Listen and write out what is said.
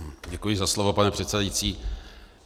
Děkuji za slovo, pane předsedající.